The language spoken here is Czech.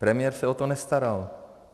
Premiér se o to nestaral.